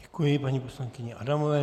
Děkuji paní poslankyni Adamové.